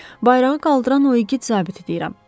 Bayrağı qaldıran o igid zabiti deyirəm.